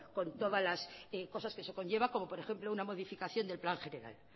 con todas las cosas que eso conlleva como por ejemplo una modificación del plan general